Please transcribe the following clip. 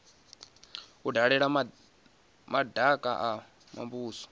vha dalela madaka a muvhuso